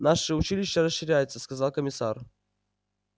наше училище расширяется сказал комиссар